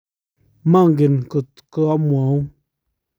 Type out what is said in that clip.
manget ngot ko amwaun